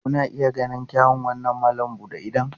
Kuna iya ganin irin kyawun wannan malam buɗe idon?